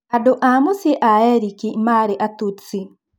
Andũ a-mũcĩĩ a-Erĩki marĩ Atutsi.